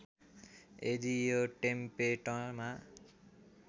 यदि यो टेम्पेटमा